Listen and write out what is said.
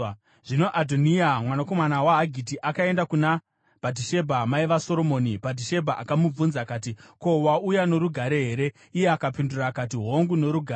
Zvino Adhoniya, mwanakomana waHagiti, akaenda kuna Bhatishebha, mai vaSoromoni. Bhatishebha akamubvunza akati, “Ko, wauya norugare here?” Iye akapindura akati, “Hongu, norugare.”